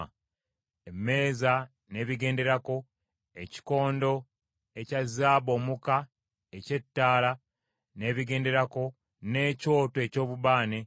emmeeza n’ebigenderako, ekikondo ekya zaabu omuka eky’ettaala n’ebigenderako, n’ekyoto eky’obubaane,